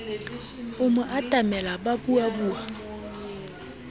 a mo atamela ba buabua